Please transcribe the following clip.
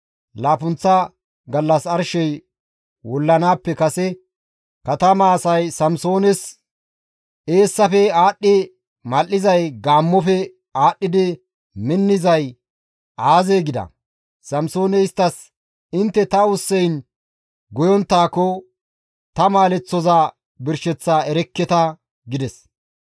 Laappunththa gallas arshey wullanaappe kase katama asay Samsoones, «Eessafe aadhdhi mal7izay gaammofe aadhdhi minnizay aazee?» gida. Samsooney isttas, «Intte ta ussayn goyonttaakko, ta maaleththoza birsheththaa erekketa» gides.